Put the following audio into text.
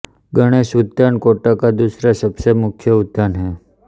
गणेश उद्यान कोटा का दूसरा सबसे मुख्य उद्यान है